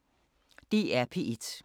DR P1